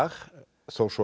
þó svo